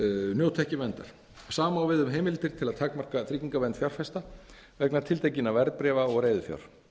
njóti ekki verndar sama á við um heimildir til að takmarka tryggingavernd fjárfesta vegna tiltekinna verðbréfa og reiðufjár